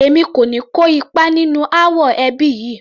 Èmi kò ní kó ipa nínú ááwọ̀ ẹbí yìí